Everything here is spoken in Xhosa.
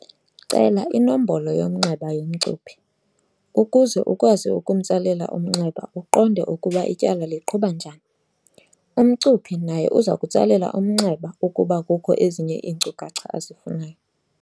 Cela inombolo yomnxeba yomcuphi, ukuze ukwazi ukumtsalela umnxeba uqonde ukuba ityala liqhuba njani. Umcuphi naye uzakutsalela umnxeba ukuba kukho ezinye iinkcukacha azifunayo.